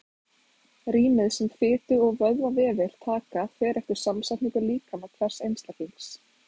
Rýmið sem fitu- og vöðvavefir taka fer eftir samsetningu líkama hvers einstaklings.